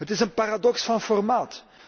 Het is een paradox van formaat.